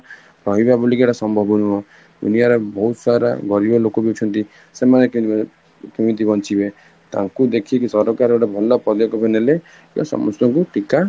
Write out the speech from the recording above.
ରହିବ ବୋଲିକି ସମ୍ଭବ ନୁହଁ ଦୁନିଆରେ ବହୁତ ସାରା ଗରିବ ଲୋକବି ଅଛନ୍ତି ସେମାନେ କେମିତି ବଞ୍ଚିବେ, ତାକୁ ଦେଖିକି ସରକାର ଗୋଟେ ଭଲ ବାନେଇଲେ କି ସମସ୍ତଙ୍କୁ ଟୀକା